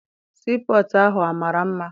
Sii pọtụ ahụ amara mma?